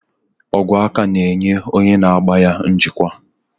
Ogwe aka na-enye onye na-agba ya njikwa.